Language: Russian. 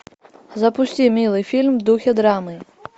запусти милый фильм в духе драмы